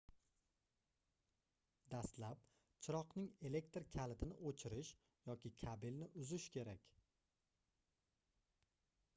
dastlab chiroqning elektr kalitini oʻchirish yoki kabelni uzish kerak